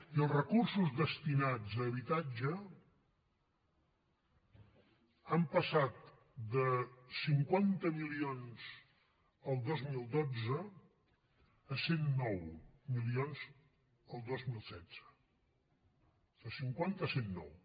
i els recursos destinats a habitatge han passat de cinquanta milions el dos mil dotze a cent i nou milions el dos mil setze de cinquanta a cent i nou